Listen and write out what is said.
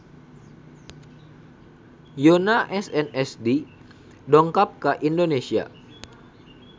Yoona SNSD dongkap ka Indonesia